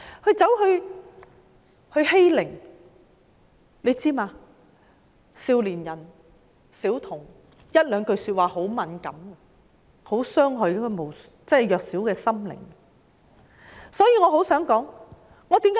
大家是否知道，少年和小童會對一些說話很敏感，他們的弱小心靈會容易受到傷害？